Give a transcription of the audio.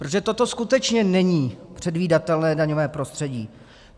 Protože toto skutečně není předvídatelné daňové prostředí.